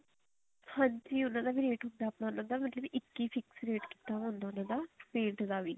ਹਾਂਜੀ ਉਹਨਾ ਦਾ ਵੀ ਰੇਟ ਹੁੰਦਾ ਮਤਲਬ ਇੱਕ ਹੀ fix ਰੇਟ ਕੀਤਾ ਹੁੰਦਾ ਉਹਨਾ ਦਾ paint ਦਾ ਵੀ